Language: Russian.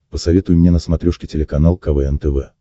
посоветуй мне на смотрешке телеканал квн тв